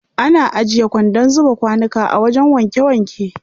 Ana ajiye kwandon zuba kwanuka a wajen wanke wanke.